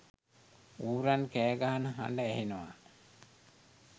ඌරන් කෑගහන හඬ ඇහෙනවා.